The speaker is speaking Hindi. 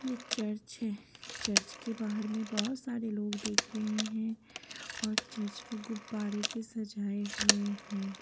ये चर्च है चर्च के बाहर में बहुत सारे लोग देख रहे हैं और चर्च को गुब्बारे से सजाए हुए हैं।